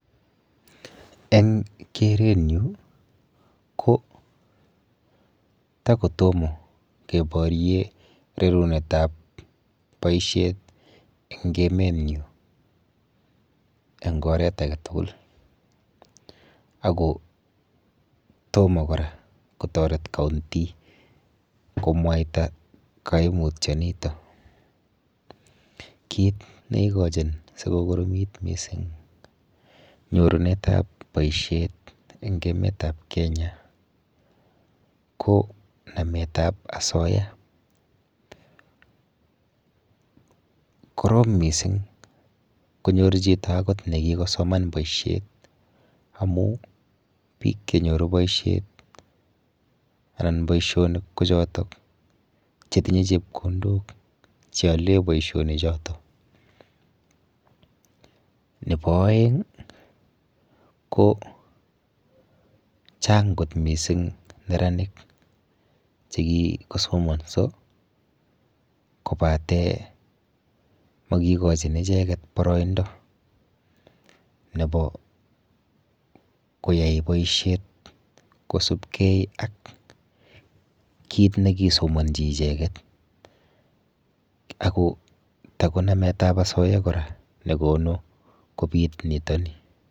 Eng kerenyu ko takotomo keborye rerunetap boishet eng emenyu eng oret aketugul ako tomo kora kotoret county komwaita kaimutionito. Kit neikochin sikokoromit mising nyorunetap boishet eng emetap Kenya ko nametap asoya. Korom mising konyor chito akot nekikosoman boishet amu biik chenyoru boishet anan boishonik ko chotok chetinye chepkondok cheole boishonichoto. Nepo oeng ko chang kot mising neranik chekikosomonso kobate mokikochin icheket boroindo nepo koyai boishet kosubkei ak kit nekisomonji icheket ako tako nametap asoya kora nekonu kobit nitoni.